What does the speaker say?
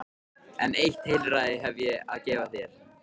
En eitt heilræði hef ég að gefa þér.